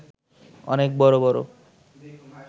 অনেক বড় বড়